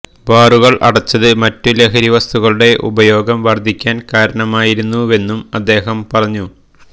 ബാറുകള് അടച്ചത് മറ്റു ലഹരി വസ്തുക്കളുടെ ഉപയോഗം വര്ധിക്കാന് കാരണമായിരുന്നുവെന്നും അദ്ദേഹം പറഞ്ഞു